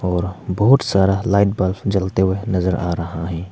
और बहुत सारा लाइट बल्ब जलते हुए नजर आ रहा है।